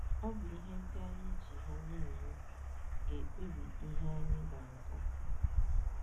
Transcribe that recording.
Ọ bụ ihe ndị anyị ji ha na - eme ga - ekpebi ihe anyị ga - aza.